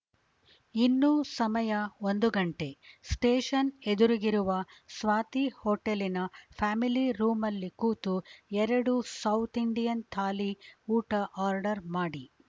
ಇನ್ನೂ ಸಮಯ ಒಂದು ಘಂಟೆ ಸ್ಟೇಷನ್‌ ಎದುರಿಗಿರುವ ಸ್ವಾತಿಹೋಟೆಲಿನ ಫ್ಯಾಮಿಲಿ ರೂಮಲ್ಲಿ ಕೂತು ಎರಡು ಸೌತ್‌ ಇಂಡಿಯನ್‌ ಥಾಲಿ ಊಟ ಆರ್ಡರ್‌ ಮಾಡಿ